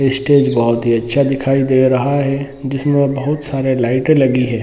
Stage बहुत ही अच्छा दिखाई दे रहा है जिसमे बहुत सारी लाइटे लगी है।